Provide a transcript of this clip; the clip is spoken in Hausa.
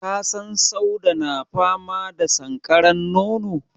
Ka san Sauda na fama da sankaran nono?